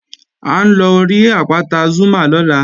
À ń lọ rí àpáta Zúmá lọ́la